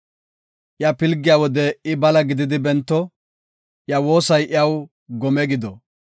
Iya pilgiya wode I bala gididi bento; iya woosay iyaw gome gido.